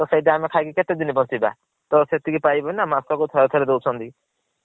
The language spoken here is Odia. ତ ସେଇତା ଆମେ ଖାଇକି କେତେ ଦିନ ବଂଚିବା ତ ସେତିକି ପାଇବନୀ ନା ମାସ କୁ ଥରେ ଥରେ ଦୌଛନ୍ତି।